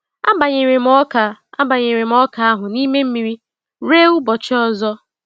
Abanyere m ọka Abanyere m ọka ahu n'ime mmiri rue ụbọchị ọzọ.